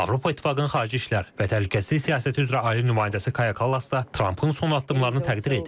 Avropa İttifaqının Xarici İşlər və Təhlükəsizlik Siyasəti üzrə Ali nümayəndəsi Kaya Kallas da Trampın son addımlarını təqdir edib.